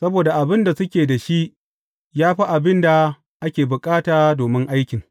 Saboda abin da suke da shi ya fi abin da ake bukata domin aikin.